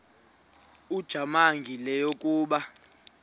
ujamangi le yakoba